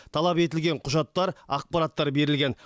талап етілген құжаттар ақпараттар берілген